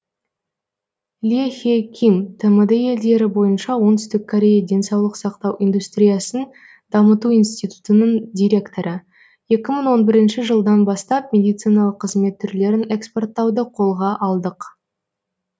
ли хе ким тмд елдері бойынша оңтүстік корея денсаулық сақтау индустриясын дамыту институтының директоры екі мың он бірінші жылдан бастап медициналық қызмет түрлерін экспорттауды қолға алдық